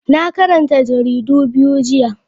Na karanta jaridu biyu jiya.